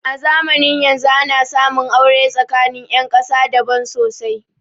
A zamanin yanzun ana samun aure tsakanin ƴan ƙasa daban sosai